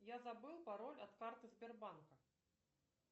я забыл пароль от карты сбербанка